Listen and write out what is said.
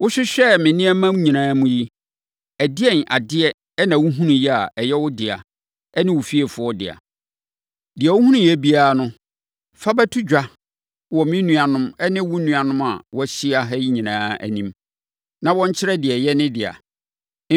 Wohwehwɛɛ me nneɛma nyinaa mu yi, ɛdeɛn adeɛ na wohunuiɛ a ɛyɛ wo ne wo fiefoɔ dea? Deɛ wohunuiɛ biara no, fa bɛto dwa wɔ me nuanom ne wo nuanom a wɔahyia ha yi nyinaa anim, na wɔnkyerɛ deɛ ɛyɛ ne dea.